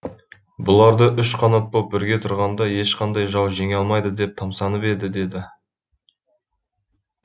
бұларды үш қанат боп бірге тұрғанда ешқандай жау жеңе алмайды деп тамсанатын еді деді